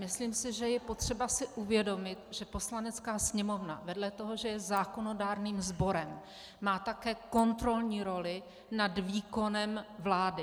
Myslím si, že je potřeba si uvědomit, že Poslanecká sněmovna vedle toho, že je zákonodárným sborem, má také kontrolní roli nad výkonem vlády.